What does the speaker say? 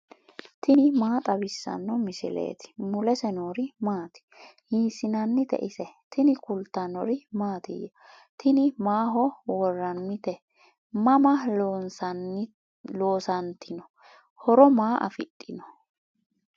tini maa xawissanno misileeti ? mulese noori maati ? hiissinannite ise ? tini kultannori mattiya? tini maaho woraannitte? Mama loosanittinno? horo maa afidhinno?